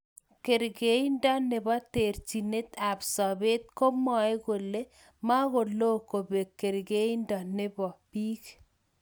Karkeindo nebo terjinet ab sabet komwae kole makoloo kobek karkeindo nebo bik.